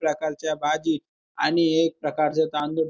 प्रकारच्या भाजी आणि एक प्रकारच तांदूळ--